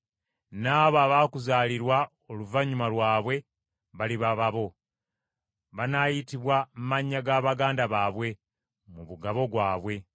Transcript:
N’abo abaakuzaalirwa oluvannyuma lwabwe baliba babo, banaayitibwa amannya ga baganda baabwe mu mugabo gwabwe.